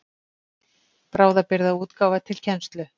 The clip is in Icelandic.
Bráðabirgðaútgáfa til kennslu.